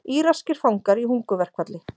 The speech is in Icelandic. Íraskir fangar í hungurverkfalli